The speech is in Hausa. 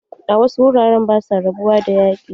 A wasu wuraren ba sua rabuwa da yaƙi.